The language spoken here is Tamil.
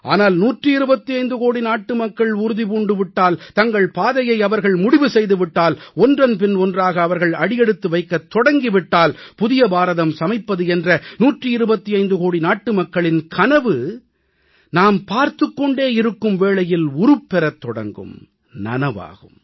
ஆனால் 125 கோடி நாட்டுமக்கள் உறுதி பூண்டு விட்டால் தங்கள் பாதையை அவர்கள் முடிவு செய்து விட்டால் ஒன்றன்பின் ஒன்றாக அவர்கள் அடியெடுத்து வைக்கத் தொடங்கி விட்டால் புதிய பாரதம் சமைப்பது என்ற 125 கோடி நாட்டுமக்களின் கனவு நாம் பார்த்துக் கொண்டே இருக்கும் வேளையில் உருப்பெறத் தொடங்கும் நனவாகும்